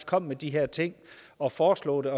kom med de her ting og foreslog det